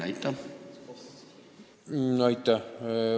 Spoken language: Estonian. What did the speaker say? Aitäh!